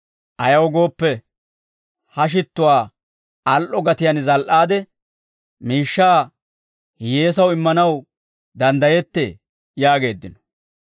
Ayaw gooppe, ha shittuwaa al"o gatiyaan zal"iide, miishshaa hiyyeesaw immanaw danddayettee» yaageeddino.